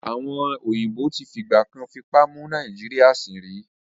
Àwọn èèbó tí fìgbà kan fipá mú Nàìjíríyà sìn rí